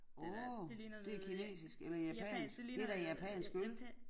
Åh det kinesisk eller japansk det da japansk øl